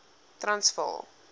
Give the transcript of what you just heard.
transvaal